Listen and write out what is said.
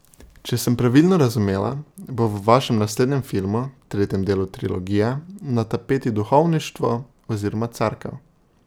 Če sem pravilno razumela, bo v vašem naslednjem filmu, tretjem delu trilogije, na tapeti duhovništvo oziroma Cerkev.